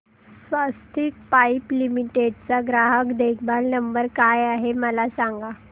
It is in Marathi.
स्वस्तिक पाइप लिमिटेड चा ग्राहक देखभाल नंबर काय आहे मला सांगा